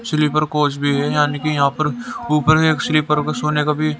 sleeper coach भी है यानी कि यहां पर ऊपर एक स्लीपर को सोने का भी--